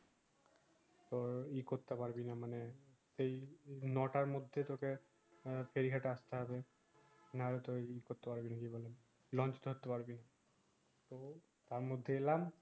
তোর ই করতে পারবি না মানে এই নো টার মধ্যে তোকে আহ ফেরি ঘাতে আসতে হবে নাইলে তোয় ই করতে পারবি না কি বলে লঞ্চ ধরতে পারবি না টার মধ্যে এলাম